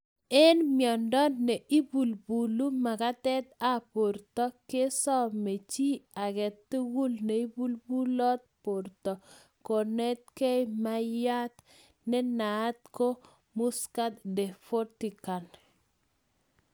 En miondo ne ibulbulu makatet ab borto kesome ji ake tugul nebulbulot borto kounekei maiywat ne naat ko muscat de Frontigan